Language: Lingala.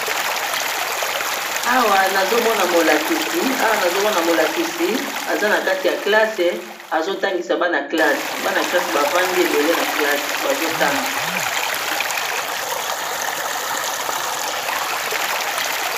Awa nazomona molakisi aza na kati ya kalasi azotangisa bana kalasi, bana kelasi bavandi ebele na kalasi bazotanga.